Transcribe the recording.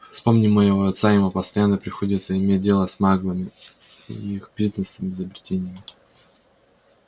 вспомни моего отца ему постоянно приходится иметь дело с маглами их бизнесом изобретениями